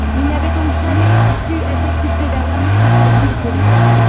Il n'aurait donc jamais dû être expulsé vers l'Inde où sa vie était menacée.